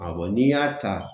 A n'i y'a ta